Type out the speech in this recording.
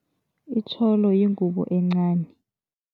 Itjholo yingubo encani.